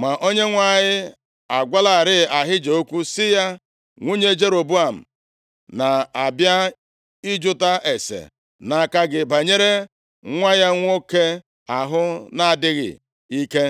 Ma Onyenwe anyị agwalarị Ahija okwu sị ya, “Nwunye Jeroboam na-abịa ịjụta ase nʼaka gị banyere nwa ya nwoke ahụ na-adịghị ike,